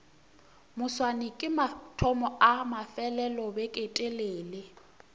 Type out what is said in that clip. moswane ke mathomo a mafelelobeketelele